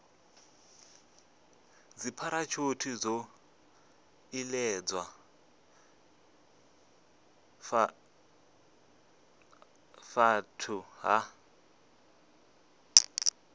dzipharashuthi zwo iledzwa fhethu ha